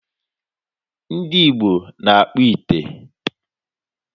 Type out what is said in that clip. Ndị Igbo na-akpụ ite.